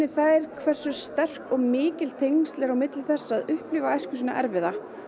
þær hversu sterk og mikil tengsl eru að upplifa æsku sína erfiða